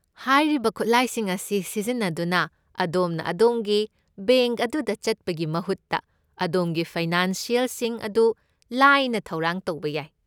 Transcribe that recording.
ꯍꯥꯏꯔꯤꯕ ꯈꯨꯠꯂꯥꯏꯁꯤꯡ ꯑꯁꯤ ꯁꯤꯖꯤꯟꯅꯗꯨꯅ, ꯑꯗꯣꯝꯅ ꯑꯗꯣꯝꯒꯤ ꯕꯦꯡꯛ ꯑꯗꯨꯗ ꯆꯠꯄꯒꯤ ꯃꯍꯨꯠꯇ, ꯑꯗꯣꯝꯒꯤ ꯐꯥꯏꯅꯥꯟꯁꯤꯑꯦꯜꯁꯤꯡ ꯑꯗꯨ ꯂꯥꯏꯅ ꯊꯧꯔꯥꯡ ꯇꯧꯕ ꯌꯥꯏ꯫